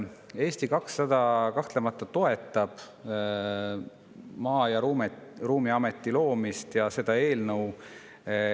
Eesti 200 kahtlemata toetab Maa‑ ja Ruumiameti loomist ja seda eelnõu.